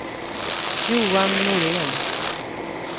Johan Norén